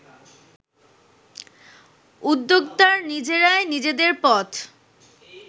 উদ্যোক্তার নিজেরাই নিজেদের পথ